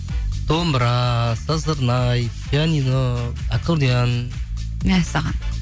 домбыра сызырнай пианино аккардион мәссаған